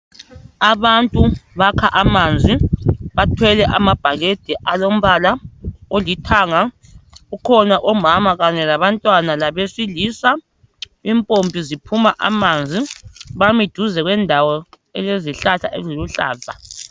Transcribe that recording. Abantu bakha amanzi bathwele amabhakede alombala olithanga kukhona omama kanye labantwana labesilisa impompi ziphuma amanzi bami duze lendawo elezihlahla eziluhlaza.